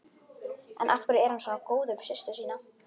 En af hverju er hann svona góður við systur sína?